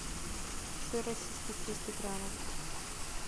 сыр российский триста граммов